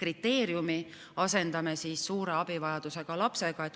kriteeriumi asendame suure abivajadusega lapse kriteeriumiga.